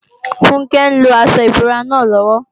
Funke ń lo aṣọ ìbora náà lọ́wọ́